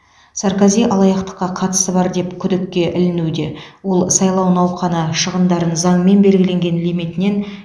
саркози алаяқтыққа қатысы бар деп күдікке ілінуде ол сайлау науқаны шығындарын заңмен белгіленген лимитінен